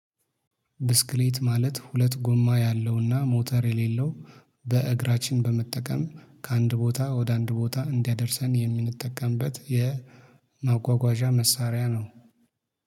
ብስክሌት ማለት ሁለት ጎማ ያለውና ሞተር የሌለው በእግራችን በመጠቀም ከአንድ ቦታ ወደ አንድ ቦታ እንዲያደርሰን የምንጠቀምበት የማጓጓዣ መሳሪያ ነው